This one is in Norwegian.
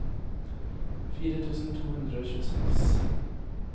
fire tusen to hundre og tjueseks